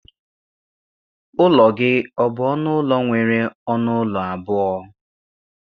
Ụlọ gị ọ bụ ọnụ ụlọ nwere ọnụ ụlọ abụọ?